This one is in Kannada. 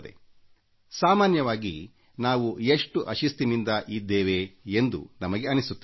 ಸಾಮಾನ್ಯವಾಗಿ ನಾವು ನಮ್ಮ ಬಗ್ಗೆ ಯೋಚಿಸುತ್ತೇವೆ ನಾವು ಎಷ್ಟು ಅಶಿಸ್ತಿನಿಂದ ಕೊಡಿದ್ದೇವೆ ಎಂದು ನಮಗೆ ಅನ್ನಿಸುತ್ತದೆ